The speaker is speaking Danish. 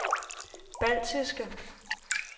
baltiske